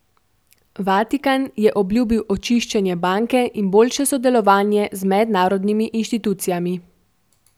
Vatikan je obljubil očiščenje banke in boljše sodelovanje z mednarodnimi inštitucijami.